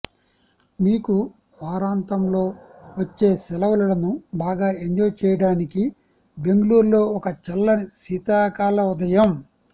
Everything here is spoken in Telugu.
మీకు వారాంతంలో వచ్చే శెలవులను బాగా ఎంజాయ్ చేయటానికి బెంగుళూర్ లో ఒక చల్లని శీతాకాల ఉదయం